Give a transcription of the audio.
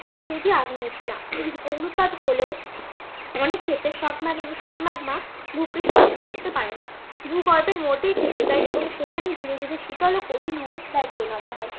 উদবেধী আগ্নেয় শিলা অগ্নুৎপাত হলেও অনেক ক্ষেত্রে সব ম্যাগমা ভুপৃষ্ঠে ফিরে আসতে পারে না। ভূগর্ভের মধ্যেই থেকে যায় এবং সেখানেই ধীরে ধীরে শীতল ও কঠিন হয়ে শিলায় পরিণত হয়।